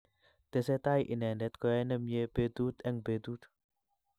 tesetai inendet ko yae nemie betut eng betut